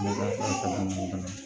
Ne ka kalanden fana